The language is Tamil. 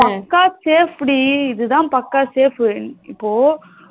பக்கா safe டிஇதா பக்கா safe இப்போ